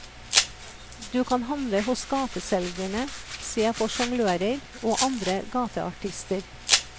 Du kan handle hos gateselgerne, se på sjonglører og andre gateartister.